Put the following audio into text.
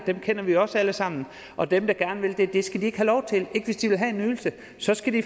dem kender vi jo også alle sammen og dem der gør det skal ikke have lov til ikke hvis de vil have en ydelse så skal de